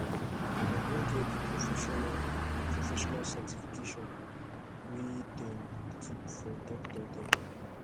i don get di professional di professional certification wey dem keep for doctor dem